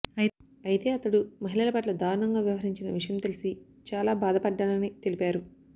అయితే అతడు మహిళల పట్ల దారుణంగా వ్యవహరించిన విషయం తెలిసి చాల బాధ పడ్డానని తెలిపారు